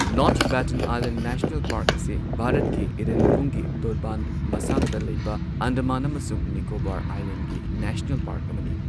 North Button Island National Park ꯑꯁꯤ ꯚꯥꯔꯠꯀꯤ ꯏꯔꯦꯟꯄꯨꯡꯒꯤ ꯇꯣꯔꯕꯥꯟ ꯃꯁꯥꯡꯗ ꯂꯩꯕ ꯑꯟꯗꯃꯥꯟ ꯑꯃꯁꯨꯡ ꯅꯤꯀꯣꯕꯥꯔ ꯑꯥꯏꯂꯦꯟꯗꯒꯤ ꯅꯦꯁꯅꯦꯜ ꯄꯥꯔꯛ ꯑꯃꯅꯤ꯫